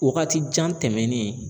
Waagati jan tɛmɛnen